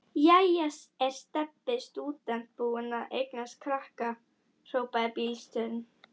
Jæja er Stebbi stúdent búinn að eignast krakka? hrópaði bílstjórinn.